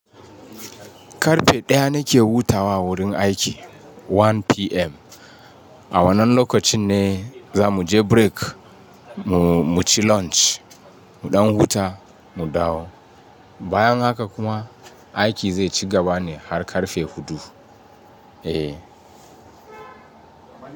Karfe ɗaya nake wuta wa a wurin aiki 1:00 PM. A wannan lokacin ne za mu je break mu ci lunch, mu ɗan huta, mu dawo. Bayan haka kuma aiki zai ci gaba ne har karfe hudu. Eh.